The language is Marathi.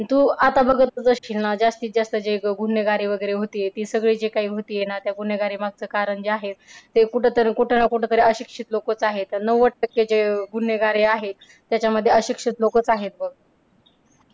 तू आता बघतचं असशील ना जास्तीत जास्त जे गुन्हेगारी वगैरे होतीये ती सगळे जे काही होतीये ना त्या गुन्हेगारी मागचं कारण जे आहे ते कुठं तर कुठ ना कुठं तरी अशिक्षित लोकचं आहे. नव्वद टक्के जे गुन्हेगार हे आहे त्याच्यामध्ये अशिक्षित लोकचं आहेत बघ.